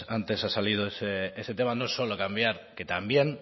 antes ha salido ese tema no solo es cambiar que también